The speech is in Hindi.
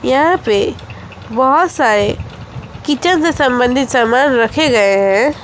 यहां पे बहोत सारे किचन से संबंधित सामान रखे गए हैं।